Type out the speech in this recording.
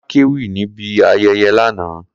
Kola kéwì níbi ayẹyẹ lánàá